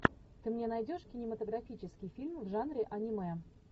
ты мне найдешь кинематографический фильм в жанре аниме